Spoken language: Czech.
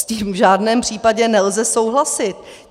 S tím v žádném případě nelze souhlasit.